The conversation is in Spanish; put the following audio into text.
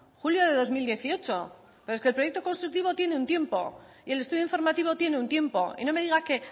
julio de dos mil dieciocho pero es que el proyecto constructivo tiene un tiempo y el estudio informativo tiene un tiempo y no me diga que